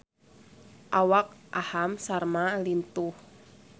Awak Aham Sharma lintuh